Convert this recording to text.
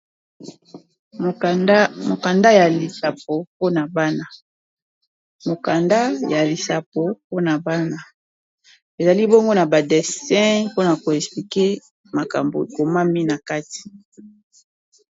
Mokanda ya lisapo mpona bana ezali bongo na ba dessin mpona ko explique makambo ekomami na kati.